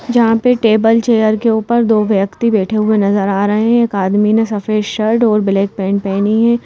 जहां पे table chair के ऊपर दो व्यक्ति बैठे हुए नजर आ रहे है एक आदमी ने सफेद शर्ट और ब्लैक पैंट पहनी है।